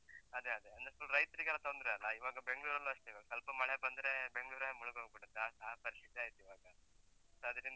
ಅದೇ ಅದೇ, ಅಂದ್ರೆ full ರೈತ್ರಿಗೆಲ್ಲ ತೊಂದ್ರೆ ಅಲ್ಲ, ಇವಾಗ Bengaluru ಲ್ಲೂ ಅಷ್ಟೇ ಇವಾಗ ಸ್ವಲ್ಪ ಮಳೆ ಬಂದ್ರೆ, ಬೆಂಗ್ಳೂರೇ ಮುಳುಗ್ ಹೋಗ್ಬಿಡುತ್ತೆ, ಆ ಆ ಪರಿಸ್ಥಿತಿ ಆಯ್ತ್ ಇವಾಗ, so ಅದ್ರಿಂದ.